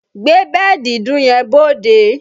Gbé bẹ́ẹ̀dì ìdun yẹn bóóde!